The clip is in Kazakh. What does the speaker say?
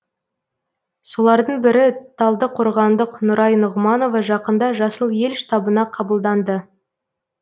солардың бірі талдықорғандық нұрай нұғманова жақында жасыл ел штабына қабылданды